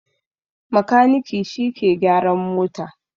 Makaniki shi ke gyaran mota